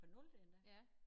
Fra nulte endda